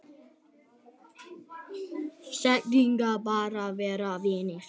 Segjast bara vera vinir